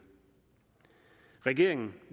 regeringen